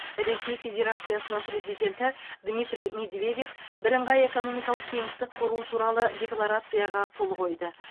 ресей федерациясының президенті дмитрий медведев бірыңғай экономикалық кеңістік құру туралы декларацияға қол қойды